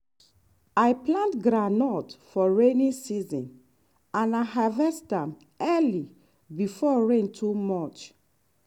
i plant groundnut for rainy season and i harvest am early before rain too much.